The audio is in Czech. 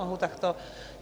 Mohu takto?